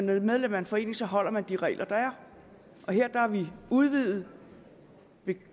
være medlem af en forening så holder man de regler der er her har vi udvidet